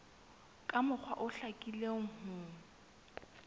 ka mokgwa o hlakileng ho